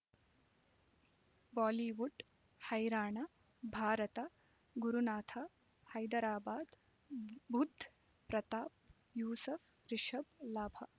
Bollywood ಹೈರಾಣ ಭಾರತ ಗುರುನಾಥ ಹೈದರಾಬಾದ್ ಬುಧ್ ಪ್ರತಾಪ್ ಯೂಸುಫ್ ರಿಷಬ್ ಲಾಭ